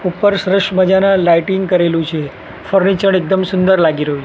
ઉપર સરસ મજાના લાઇટિંગ કરેલું છે ફર્નિચર એકદમ સુંદર લાગી રહ્યું--